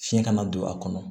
Fiɲɛ kana don a kɔnɔ